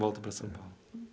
Volta para São Paulo.